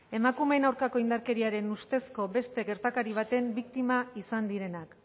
emakumeen aurkako indarkeriaren ustezko beste gertakari baten biktima izan direnak